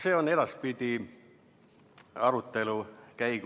See on edaspidi arutelu all.